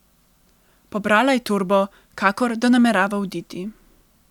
Pobrala je torbo, kakor da namerava oditi.